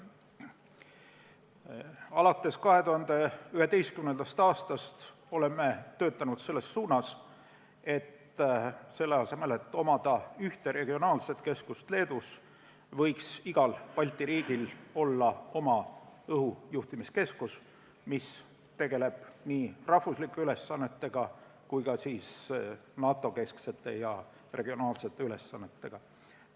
Alates 2011. aastast oleme töötanud selles suunas, et mitte omada ainult ühte regionaalset keskust Leedus, vaid et igal Balti riigil oleks oma õhujuhtimiskeskus, mis tegeleks nii riigisiseste ülesannete kui ka NATO-kesksete ja regionaalsete ülesannetega.